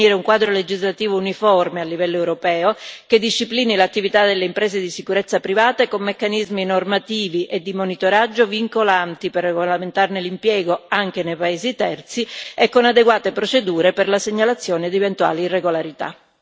Occorre quindi definire un quadro legislativo uniforme a livello europeo, che disciplini l'attività delle imprese di sicurezza private con meccanismi normativi e di monitoraggio vincolanti per regolamentarne l'impiego anche nei paesi terzi e con adeguate procedure per la segnalazione di eventuali irregolarità.